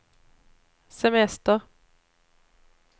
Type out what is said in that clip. semester